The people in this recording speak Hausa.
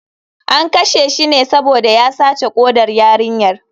An kashe shi ne saboda ya sace kodar yarinyar.